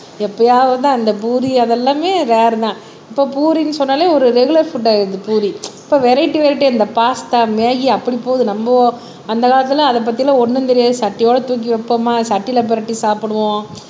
யாப்பையாவதுதான் அந்த பூரி அது எல்லாமே வேற தான் இப்ப பூரின்னு சொன்னாலே ஒரு ரெகுலர் ஃபுட் ஆயிடுது பூரி இப்ப வெரியேட்டி வெரியேட்டி அந்த பாஸ்தா மேகி அப்படி போகுது நம்ம அந்த காலத்துல அதை பத்தி எல்லாம் ஒண்ணும் தெரியாது சட்டியோடு தூக்கி வைப்போமா சட்டியில பிரட்டி சாப்பிடுவோம்